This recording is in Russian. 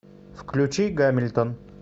включи гамильтон